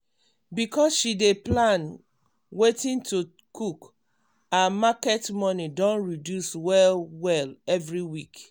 because she dey plan wetin to cook her market money don reduce well-well every week.